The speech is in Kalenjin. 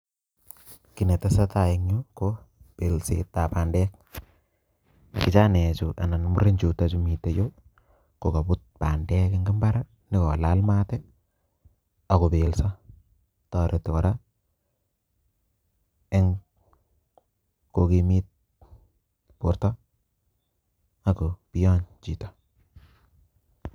Kiit netesetai en yuu ko belsetab bandek kijanaekchu anan murenjuto chuu miten yuu kokobut bandek eng mbar ih nyokolal maat ih anyokobelso toreti kora eng kokimit borto akobiyo chito